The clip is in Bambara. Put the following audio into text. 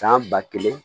San ba kelen